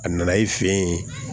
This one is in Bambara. A nana i fɛ yen